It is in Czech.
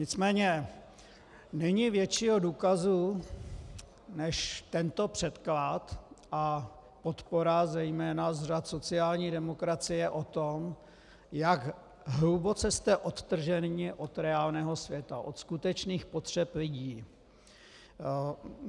Nicméně není většího důkazu než tento předklad a podpora zejména z řad sociální demokracie toho, jak hluboce jste odtrženi od reálného světa, od skutečných potřeb lidí.